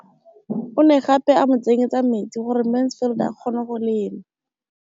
O ne gape a mo tsenyetsa metsi gore Mansfield a kgone go lema.